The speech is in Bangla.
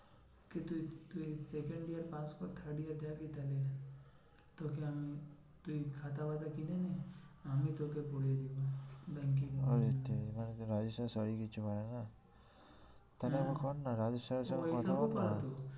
ওয়ে তেরি মানে কি রাজেশ sir কিছু হয় না। তাহলে একবার কর না রাজেশ sir এর সাথে কথা বল না।